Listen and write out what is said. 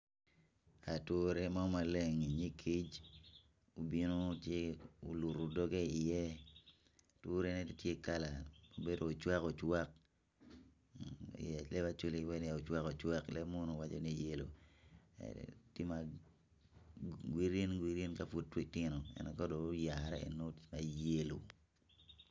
Ature maleng ma kic mo tye oluto doge i ye aturene tye kala ma obedo ocwakowaka green green ka pud gitino ento yelo ka dong oyare.